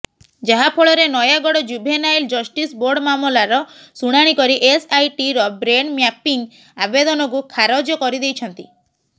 ଯାହାଫଳରେ Nayagarh juvenile justice board ମାମଲାର ଶୁଣାଣି କରି ଏସ୍ଆଇଟିର ବ୍ରେନ୍ ମ୍ୟାପିଂ ଆବେଦନକୁ ଖାରଜ କରିଦେଇଛନ୍ତି